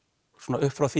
upp frá því